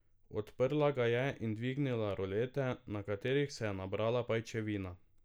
Odprla ga je in dvignila rolete, na katerih se je nabrala pajčevina.